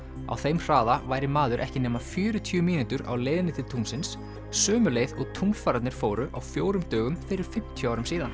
á þeim hraða væri maður ekki nema fjörutíu mínútur á leiðinni til tunglsins sömu leið og fóru á fjórum dögum fyrir fimmtíu árum síðan